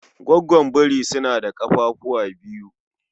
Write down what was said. Goggon biri suna da kafafuwa biyu